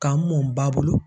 Ka n mɔ n ba bolo